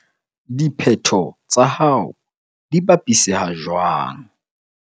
DIPHETHO TSA HAO DI BAPISEHA JWANG?